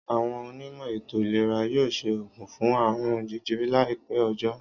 Àwon onímò̩ ètò ìlera yóò s̩e ògùn fún àrùn je̩je̩re̩ láì pé̩ o̩jó̩